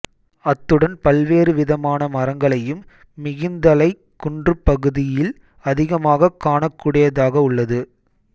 அத்துடன் பல்வேறு விதமான மரங்களையும் மிகிந்தலைக் குன்றுப்பகுதியில் அதிகமாகக் காணக்கூடியதாகவுள்ளது